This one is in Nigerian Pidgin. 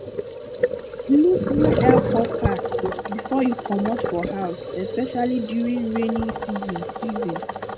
look weather forecast before you comot for house especially during rainy season season